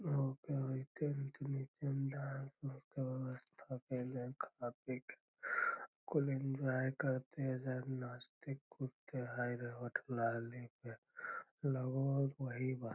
के व्यवस्था केएले खा पी के फूल एंजॉय करते एजा नाचते कूदते हेय रे होठ लाली पे लगो हेय वही बात।